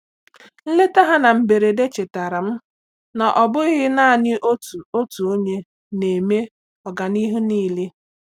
Nleta ha na mberede chetaara m na ọ bụghị naanị otu otu onye na eme ọganihu niile.